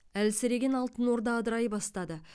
әлсіреген алтын орда ыдырай бастады